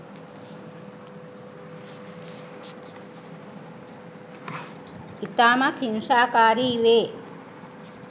ඉතාමත් හිංසාකාරී වේ.